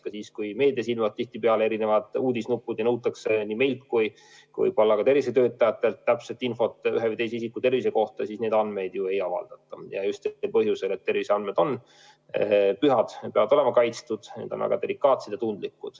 Näiteks kui meedias ilmuvad erineva sisuga uudisnupud, siis nõutakse nii meilt kui ka tervishoiutöötajatelt täpset infot ühe või teise isiku tervise kohta, aga neid andmeid ei avaldata, ja just põhjusel, et terviseandmed on pühad, peavad olema kaitstud, on väga delikaatsed.